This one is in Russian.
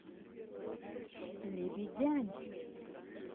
лебедянь